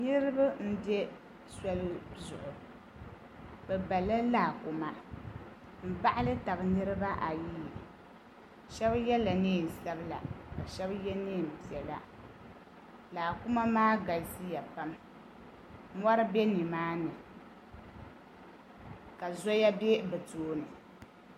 niriba m-be soli zuɣu bɛ bala laakuma m-baɣili taba niriba ayi ayi shɛba yela neen' sabila ka shɛba ye neen' piɛla laakuma maa galisiya pam mɔri be ni maa ni ka zoya be bɛ tooni.